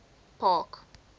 park